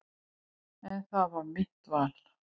En það er mitt val.